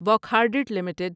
Wockhardt limited